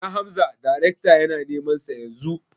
Ina Hamza darekta yana neman sa Yanzu